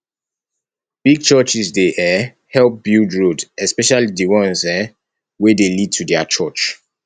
big churches dey um help build roads especially di ones um wey dey lead to their church